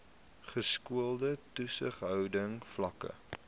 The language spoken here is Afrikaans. geskoolde toesighouding vlakke